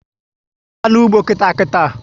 Gaba n'ugbo nkịta nkịta!